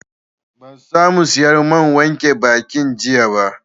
Ban sa mu sayar man wanke bakin jiya ba